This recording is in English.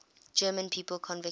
german people convicted